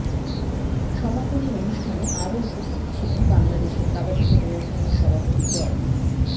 সমাপনী অনুষ্ঠানে আরও উপস্থিত ছিলেন বাংলাদেশ কাবাডি ফেডারেশনের সভাপতি ড